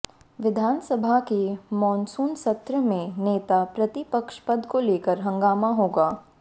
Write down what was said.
विधानसभा के मानसून सत्र में नेता प्रतिपक्ष पद को लेकर हंगामा होगा